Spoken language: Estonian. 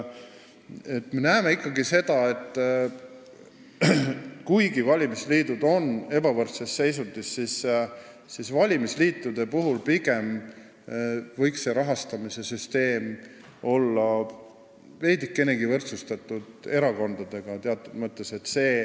Me näeme seda ikkagi nii, et valimisliidud on ebavõrdses seisundis ja nende rahastamise süsteem võiks olla veidikenegi erakondadega võrdsustatud.